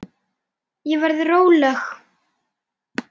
Ég verð róleg.